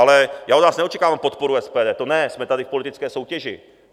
Ale já od vás neočekávám podporu SPD, to ne, jsme tady v politické soutěži.